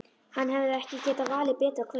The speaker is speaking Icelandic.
Hann hefði ekki getað valið betra kvöld.